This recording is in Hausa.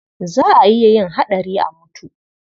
Za a iya yin haɗari a mutu.